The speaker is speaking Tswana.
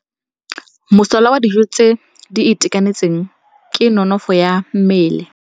Mosola wa dijô tse di itekanetseng ke nonôfô ya mmele.